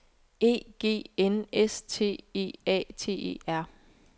E G N S T E A T E R